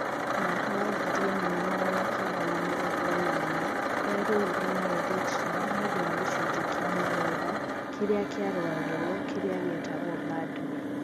Mwaka wa ngiri imwe na magana kenda na mĩrongo enana yarũwire na Eritrea niundũ wa gicunje kia mugunda kiria kiaruwagirwo kiria gietagwoBadme.